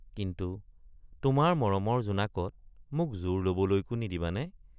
কিন্তু তোমাৰ মৰমৰ জোনাকত মোক জুৰ লবলৈকো নিদিবানে?